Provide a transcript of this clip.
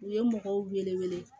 U ye mɔgɔw wele